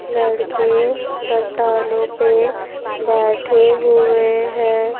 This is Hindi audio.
लड़के चट्टानों पे बैठे हुए हैं.